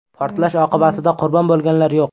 Portlash oqibatida qurbon bo‘lganlar yo‘q.